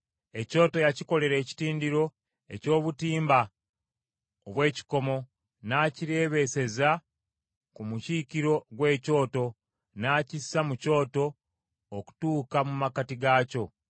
Ekyoto yakikolera ekitindiro eky’obutimba obw’ekikomo, n’akireebeeseza ku mukiikiro gw’ekyoto, n’akissa mu kyoto okutuuka mu makkati gaakyo.